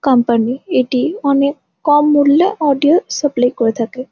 Company এটি অনেক কম মূল্যে অডিও সাপ্লাই করে থাকে ।